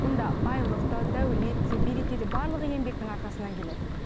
мұнда байлық та дәулет те береке де барлығы еңбектің арқасынан келеді